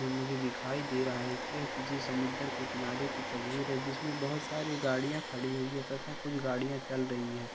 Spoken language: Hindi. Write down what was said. मुझे दिखाई दे रहा है की यह किसी सामुदर के किनारे की तस्वीर है जिसमें बोहत सारी गाड़ियां खड़ी हुई है तथा कुछ गाड़ियां चल रही है।